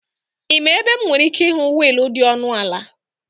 Ị ma ebe m nwere ike ịhụ wiil dị ọnụ ala